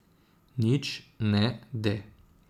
Nič ne de.